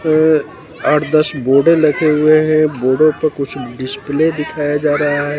अ आठ दस बोर्डे लगे हुए हैं। बोर्डो पे कुछ डिस्प्ले दिखाया जा रहा है।